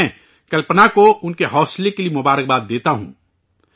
میں، کلپنا کو ان کے حوصلے کے لئے مبارکباد دیتا ہوں